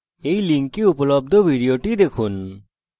এই link উপলব্ধ video দেখুন